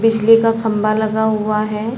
बिजली का खम्भा लगा हुआ है।